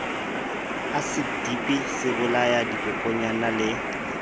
asiti dipi sebolaya dikokonyana le